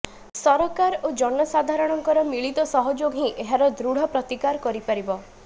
ସରକାର ଓ ଜନସାଧାରଣଙ୍କର ମିଳିତ ସହଯୋଗ ହିଁ ଏହାର ଦୃଢ ପ୍ରତିକାର କରିପାରିବ